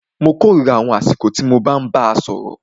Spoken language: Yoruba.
Mó kòrira àwọn àsìkò tí mo bàá sọ̀rọ̀.